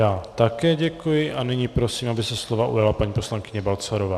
Já také děkuji a nyní prosím, aby se slova ujala paní poslankyně Balcarová.